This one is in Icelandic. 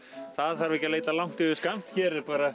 það þarf ekki að leita langt yfir skammt hér er bara